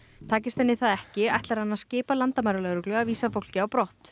takist henni það ekki ætlar hann að skipa landamæralögreglu að vísa fólki á brott